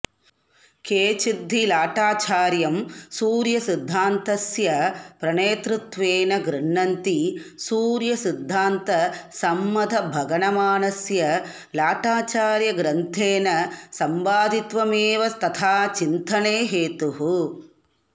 केचिद्धि लाटाचार्यं सूर्यसिद्धान्तस्य प्रणेतृत्वेन गृह्णन्ति सूर्यसिद्धान्तसम्मतभगणमानस्य लाटाचार्यग्रन्थेन संपादित्वमेव तथाचिन्तने हेतुः